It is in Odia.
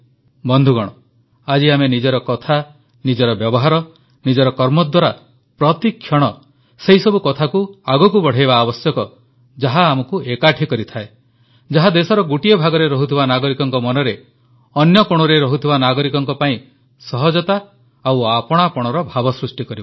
ବନ୍ଧୁଗଣ ଆଜି ଆମେ ନିଜର କଥା ନିଜର ବ୍ୟବହାର ନିଜର କର୍ମ ଦ୍ୱାରା ପ୍ରତିକ୍ଷଣ ସେହିସବୁ କଥାକୁ ଆଗକୁ ବଢ଼ାଇବା ଆବଶ୍ୟକ ଯାହା ଆମକୁ ଏକାଠି କରିଥାଏ ଯାହା ଦେଶର ଗୋଟିଏ ଭାଗରେ ରହୁଥିବା ନାଗରିକଙ୍କ ମନରେ ଅନ୍ୟ କୋଣରେ ରହୁଥିବା ନାଗରିକଙ୍କ ପାଇଁ ସହଜତା ଓ ଆପଣାପଣର ଭାବ ସଷ୍ଟି କରିବ